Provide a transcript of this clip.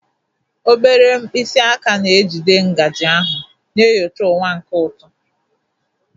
Obere mkpịsị aka na-ejide ngaji ahụ, na-enyocha ụwa nke ụtọ.